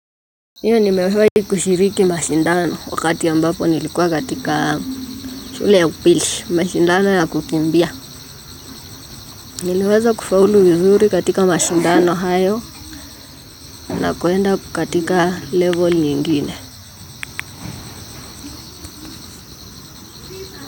Ndio nimewahi kushiriki mashindano wakati ambapo nilipokuwa katika shule ya upili, mashindano ya kukimbia. Niliweza kufauli vizuri katika mashindano hayo na kwenda katika level nyingine.